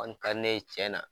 ne ye tiɲɛ na.